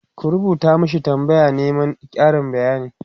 ku rubuta mashi tambaya na Neman Karin bayani!